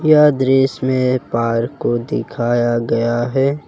यह दृश्य में एक पार्क को दिखाया गया है।